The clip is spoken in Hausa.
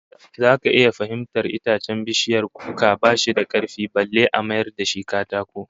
Zaka iya fahimtar itacen bishiyar kuka ba shi da karfi balle a mayar da shi katako